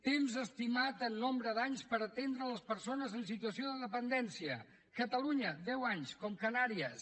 temps estimat en nombre d’anys per atendre les persones en situació de dependència catalunya deu anys com canàries